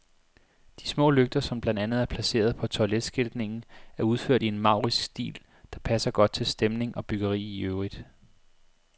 De små lygter, som blandt andet er placeret på toiletskiltningen, er udført i en maurisk stil, der passer godt til stemning og byggeri i øvrigt.